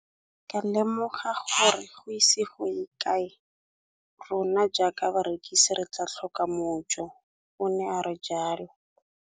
Ke ne ka lemoga gore go ise go ye kae rona jaaka barekise re tla tlhoka mojo, o ne a re jalo.